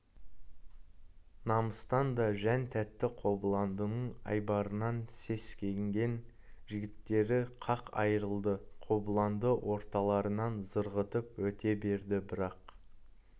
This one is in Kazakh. намыстан да жан тәтті қобыландының айбарынан сескенген жігіттер қақ айырылды қобыланды орталарынан зырғытып өте берді бірақ